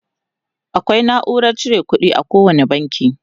akwai naurar cire ƙuɗi a kowani banki